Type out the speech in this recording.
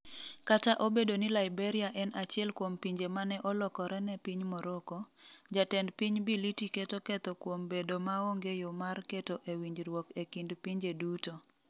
Kata obedo ni Liberia en achiel kuom pinje mane olokore ne piny Morocco, Jatend Piny Bility keto ketho kuom bedo maonge yo mar keto e winjruok e kind pinje duto.